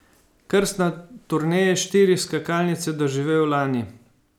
Krst na turneji štirih skakalnic je doživel lani.